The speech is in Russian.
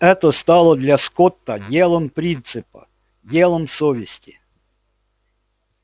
это стало для скотта делом принципа делом совести